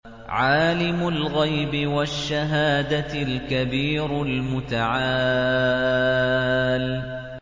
عَالِمُ الْغَيْبِ وَالشَّهَادَةِ الْكَبِيرُ الْمُتَعَالِ